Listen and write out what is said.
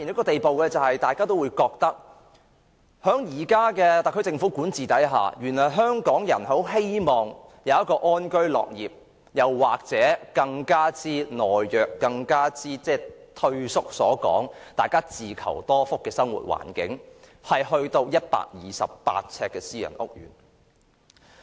大家都覺得在現時特區政府的管治下，香港人其實只想安居樂業，或更懦弱和退縮的說法，是想有一個自求多福的生活環境，但已到了128平方呎私人屋苑的地步。